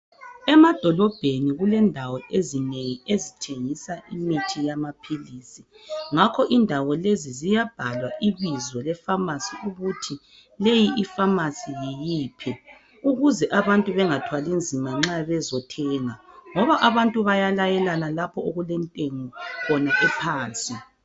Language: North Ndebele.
Emadolobheni kulendawo ezinengi ezithengisa imithi yamaphilisi ngakho indawo lesi ziyabhalwa ibizo le pharmacy ukuthi leyi ipharmacy yiyiphi ukuze abantu bengathwali nzima nxa bezothenga ngoba abantu bayalayelana lapho okulentengo khona ephansi.